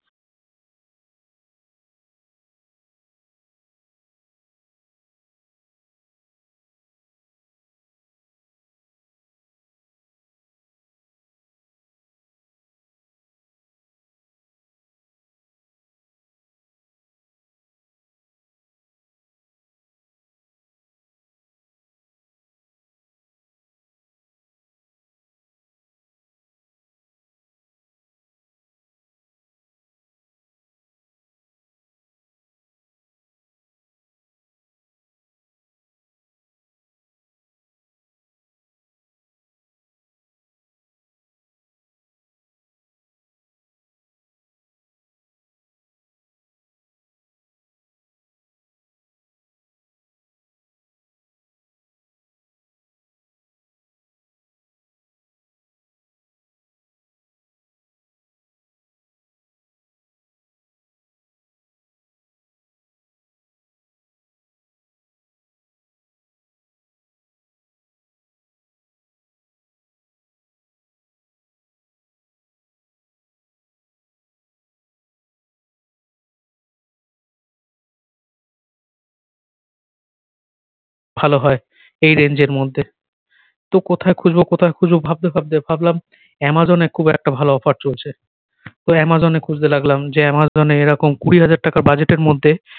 ভালো হয় এই range এর মধ্যে তো কোথায় খুঁজবো কোথায় খুঁজবো ভাবতে ভাবতে ভাবলাম অ্যামাজন এ খুব একটা ভালো offer চলছে তো অ্যামাজন এ খুজতে লাগলাম যে অ্যামাজন এ এ রকম কুড়ি হাজার টাকার budget এর মধ্যে